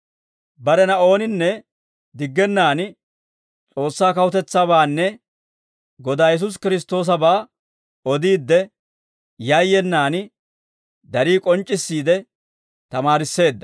Barena ooninne diggennan S'oossaa kawutetsaabaanne Godaa Yesuusi Kiristtoosabaa odiidde, yayyenaan darii k'onc'c'issiide tamaarisseedda.